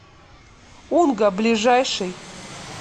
унга ближайший